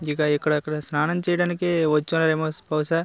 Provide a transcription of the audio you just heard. ఇదిగో ఇక్కడ ఇక్కడ స్నానం చేయడానికి వచ్చారేమో స్ బహుశా --